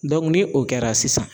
Dɔnku ni o kɛra sisan